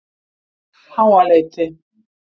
Háaleiti